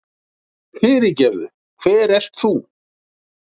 Fyrirgefðu, hver ert þú?